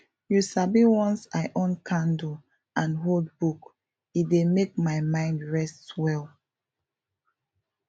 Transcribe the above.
you sabi once i on candle and hold book e dey make my mind rest well